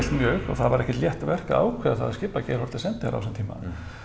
mjög og það var ekkert létt verk að ákveða það að skipa Geir Haarde sendiherra á þessum tíma